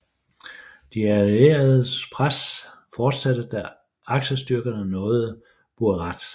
Det allierede pres fortsatte da aksestyrkerne nåede Buerat